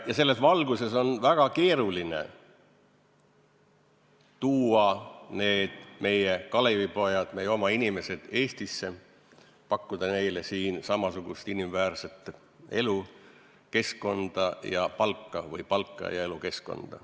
Selles valguses on väga keeruline tuua neid meie Kalevipoegi, meie oma inimesi Eestisse ja pakkuda neile siin samasugust inimväärset elu, keskkonda ja palka või palka ja elukeskkonda.